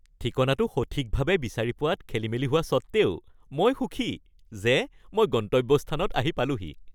ঠিকনাটো সঠিকভাৱে বিচাৰি পোৱাত খেলিমেলি হোৱা সত্ত্বেও মই সুখী যে মই গন্তব্যস্থানত আহি পালোহি৷